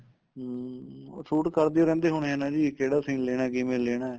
ਹਮ ਉਹ shoot ਕਰਦੇ ਈ ਰਹਿੰਦੇ ਈ ਹੋਣੇ ਏ ਜੀ ਕਿਹੜਾ scene ਲੈਣਾ ਕਿਵੇਂ ਲੈਣਾ